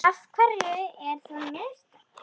Af hverju eru það mistök?